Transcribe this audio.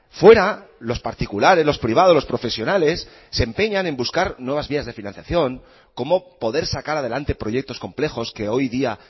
fuera los particulares los privados los profesionales se empeñan en buscar nuevas vías de financiación cómo poder sacar adelante proyectos complejos que hoy día